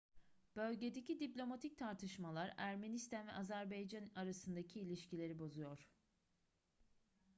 bölgedeki diplomatik tartışmalar ermenistan ve azerbaycan arasındaki ilişkileri bozuyor